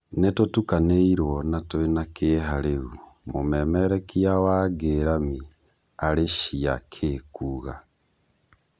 "Nĩ tũtukanĩ irwo na twĩ na kĩ eha rĩ u," mũmererekia wa Ngĩ ramĩ Arĩ cia Ki kuuga.